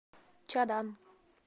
чадан